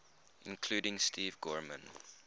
including steve gorman